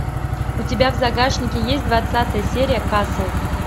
у тебя в загашнике есть двадцатая серия касл